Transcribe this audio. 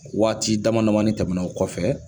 Waati dama dama tɛmɛna o kɔfɛ